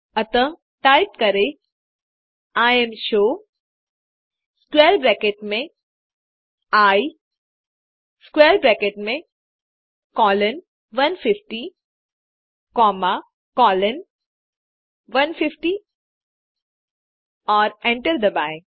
अतः टाइप करें imshow square bracket में आई स्क्वैर ब्रैकेट में कोलोन 150 कॉमा कोलोन 150 और एंटर दबाएँ